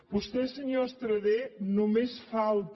vostè senyor estradé només falta